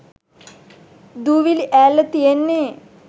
දූවිලිඈල්ල තියෙන්නෙ?